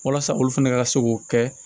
Walasa olu fɛnɛ ka se k'o kɛ